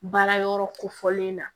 Baara yɔrɔ kofɔlen na